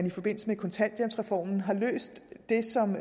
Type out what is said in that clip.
i forbindelse med kontanthjælpsreformen har løst det som